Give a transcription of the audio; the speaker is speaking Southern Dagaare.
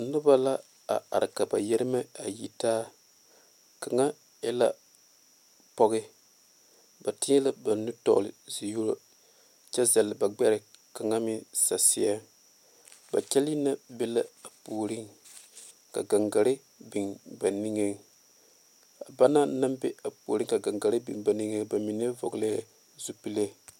Noba la a are ka ba yeeremɛ a yɛ taa kaŋa e la pɔge ba tiɛ la ba nu tɔgle zie yobo kyɛ zali ba gbere kaŋa meŋ saseɛ ba kyɛle na ba la a puori ka gaŋgaare biŋ ba niŋe a banaŋ naŋ be a puori ka gaŋgaare ba niŋe ba mine vɔglee zupele.